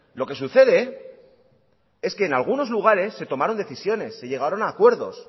lo que sucede es que en algunos lugares se tomaron decisiones se llegaron a acuerdos